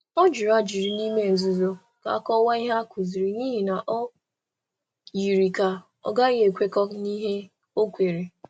Ọ jụrụ ajụjụ n’ime nzuzo um ka a kọwaa um ihe a kụziri, n’ihi na o yiri ka ọ ghaghị ekwekọ n’ihe ọ kweere. um